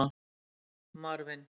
Marvin